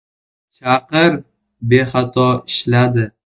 Chaqir bexato ishladi.